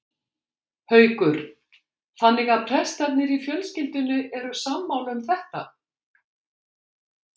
Haukur: Þannig að prestarnir í fjölskyldunni eru sammála um þetta?